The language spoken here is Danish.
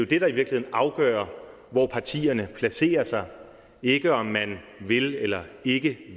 det der i virkeligheden afgør hvor partierne placerer sig ikke om man vil eller ikke